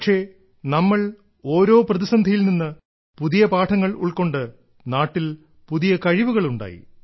പക്ഷേ നമ്മൾ ഓരോ പ്രതിസന്ധിയിൽ നിന്ന് പുതിയ പാഠങ്ങൾ ഉൾക്കൊണ്ട് നാട്ടിൽ പുതിയ കഴിവുകൾ ഉണ്ടായി